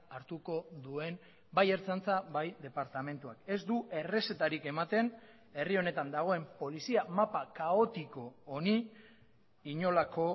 hartuko duen bai ertzaintza bai departamentuak ez du errezetarik ematen herri honetan dagoen polizia mapa kaotiko honi inolako